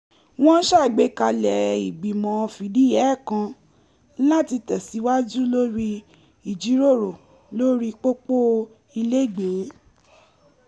wọ́n ṣàgbékalẹ̀ ìgbìmọ̀ fìdíhẹẹ́ kan láti tẹ̀síwaju lórí ìjíròrò lórí pópọ̀ ilẹ́gbẹ̀ẹ́